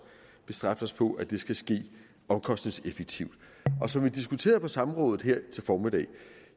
bestræbt os på at det skal ske omkostningseffektivt og som vi diskuterede på samrådet her i formiddags